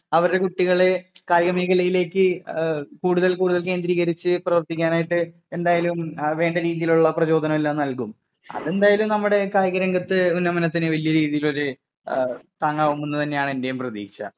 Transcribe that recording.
അവരുടെ കുട്ടികളെ കായിക മേഖലയിലേക്ക് കൂടുതൽ കൂടുതൽ കേന്ദ്രീകരിച്ച് പ്രവർത്തിക്കാനായിട്ട് എന്തായാലും വേണ്ട രീതിയിലുള്ള പ്രചോദനമെല്ലാം നൽകും. അതെന്തായാലും നമ്മുടെ കായിക രംഗത്തെ ഉന്നമനത്തിന് വലിയ രീതിയില് ഒരു താങ്ങാവുമെന്ന് തന്നെയാണ് എന്റെയും പ്രതീക്ഷ.